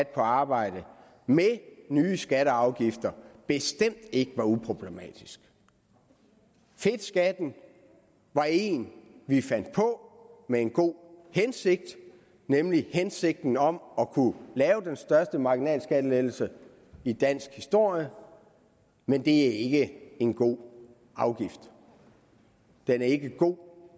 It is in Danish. på arbejde med nye skatter og afgifter bestemt ikke var uproblematisk fedtskatten var en vi fandt på med en god hensigt nemlig hensigten om at kunne lave den største marginalskattelettelse i dansk historie men det er ikke en god afgift den er ikke god